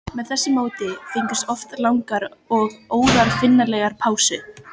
Með þessu móti fengust oft langar og óaðfinnanlegar pásur.